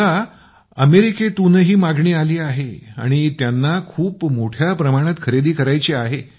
मला अमेरिकेतूनही बाजारपेठ मिळाली आहे आणि त्यांना खूप मोठ्या प्रमाणात खरेदी करायची आहे